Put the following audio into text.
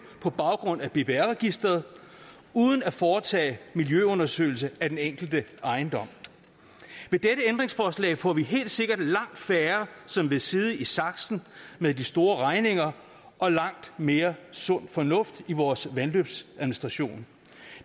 på baggrund af bbr registeret uden at foretage miljøundersøgelser af den enkelte ejendom med dette ændringsforslag får vi helt sikkert langt færre som vil sidde i saksen med de store regninger og langt mere sund fornuft i vores vandløbsadministration